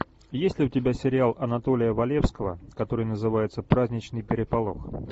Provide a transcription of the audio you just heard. есть ли у тебя сериал анатолия валевского который называется праздничный переполох